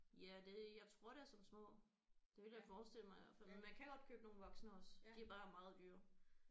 Ja det jeg tror det er som små det ville jeg forestille mig i hvert fald men man kan godt købe nogle voksne også de er bare meget dyre